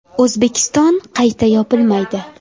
O‘zbekiston qayta yopilmaydi.